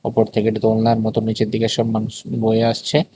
ওপর থেকে এটি দোলনার মত নিচের দিকে সব মানুষ বয়ে আসছে।